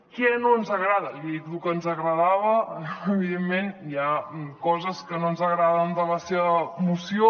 què no ens agrada ja he dit lo que ens agradava evidentment hi ha coses que no ens agraden de la seva moció